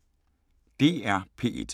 DR P1